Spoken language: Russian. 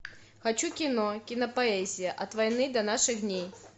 хочу кино кинопоэзия от войны до наших дней